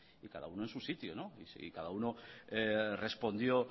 y cada uno en su sitio y cada uno respondió